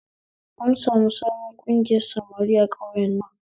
An sami sabon ƙungiyar samari a ƙauyen nan